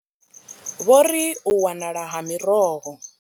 Vho ri u wanala ha miroho.